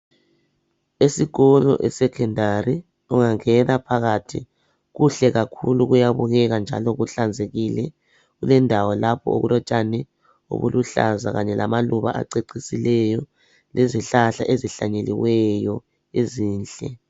Esikolo esekhondari unga ngena phakathi kuhle kakhulu kuyabukeka njalo kuhlanzekile, kulendawo lapho okulotshani obuluhlaza, kanye lamaluba acecisileyo lezihlahla ezihlanyeliweyo ezinhle.